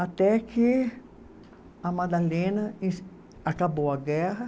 Até que a Madalena. Acabou a guerra.